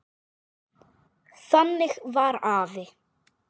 Þannig var afi.